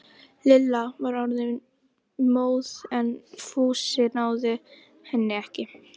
Lilla var orðin móð en Fúsi náði henni ekki.